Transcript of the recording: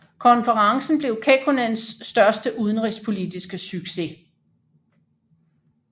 Konferencen blev Kekkonens største udenrigspolitiske succes